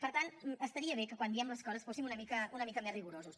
per tant estaria bé que quan diem les coses fóssim una mica més rigorosos